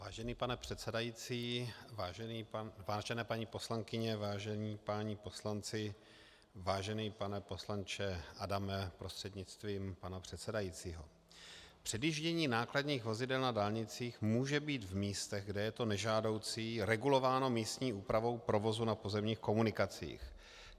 Vážený pane předsedající, vážené paní poslankyně, vážení páni poslanci, vážený pane poslanče Adame prostřednictvím pana předsedajícího, předjíždění nákladních vozidel na dálnicích může být v místech, kde je to nežádoucí, regulováno místní úpravou provozu na pozemních komunikacích.